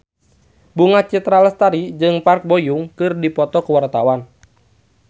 Bunga Citra Lestari jeung Park Bo Yung keur dipoto ku wartawan